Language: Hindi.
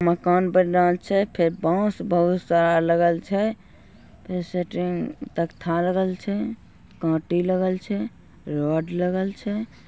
मकान बन रहल छै फिर बांस बहुत सारा लगल छै फेर सेट्रिंग तख्ता लगल छै कांटी लगल छै रड लगल छै।